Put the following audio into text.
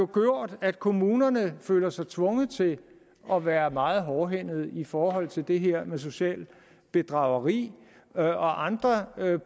gjort at kommunerne føler sig tvunget til at være meget hårdhændede i forhold til det her med socialt bedrageri og andre